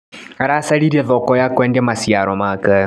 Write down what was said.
Aracaririe thoko ya kwendia maciaro make.